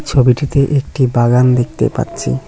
ছবিটিতে একটি বাগান দেখতে পাচ্ছি।